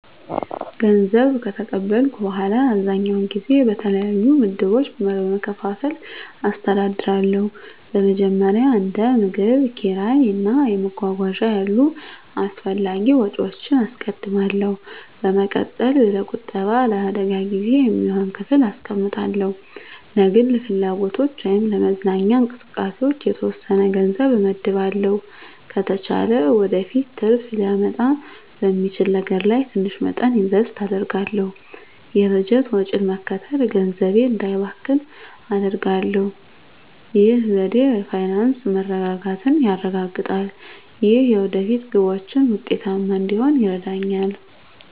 ገንዘብ ከተቀበልኩ በኋላ, አብዛኛውን ጊዜ በተለያዩ ምድቦች በመከፋፈል አስተዳድራለሁ. በመጀመሪያ፣ እንደ ምግብ፣ ኪራይ እና መጓጓዣ ያሉ አስፈላጊ ወጪዎችን አስቀድማለሁ። በመቀጠል፣ ለቁጠባ እና ለአደጋ ጊዜ የሚሆን ክፍል አስቀምጣለሁ። ለግል ፍላጎቶች ወይም ለመዝናኛ እንቅስቃሴዎች የተወሰነ ገንዘብ እመድባለሁ። ከተቻለ ወደፊት ትርፍ ሊያመጣ በሚችል ነገር ላይ ትንሽ መጠን ኢንቨስት አደርጋለሁ። የበጀት ወጪን መከተል ገንዘቤ እንዳይባክን አደርጋሁ። ይህ ዘዴ የፋይናንስ መረጋጋትን ያረጋግጣል እና የወደፊት ግቦችን ውጤታማ እንድሆን ይረዳኛል.